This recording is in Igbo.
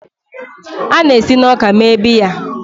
A na-esi na ọka mee biya.